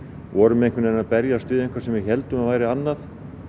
vorum að berjast við eitthvað sem við héldum að væri annað